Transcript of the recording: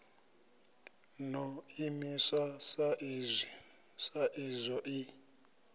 ḓo imiswa sa izwo i